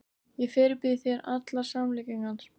Ég fyrirbýð þér allar samlíkingar.